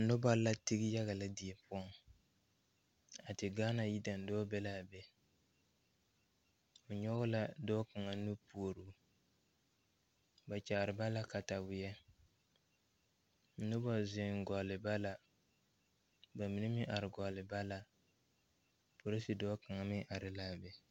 Nobɔ la tige yaga lɛ die poɔŋ a te gaana yidaandɔɔ be laa be o nyoge la dɔɔ kaŋa nu puoroo ba kyaare ba la kataweɛ nobɔ zeŋ gɔlle ba la ba mine meŋ are gɔlle ba la polise dɔɔ kaŋa meŋ are laa be.